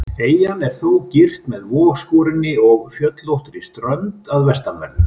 Eyjan er þó girt með vogskorinni og fjöllóttri strönd að vestanverðu.